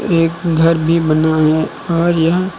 एक घर भी बना है और यह--